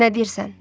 Nə deyirsən?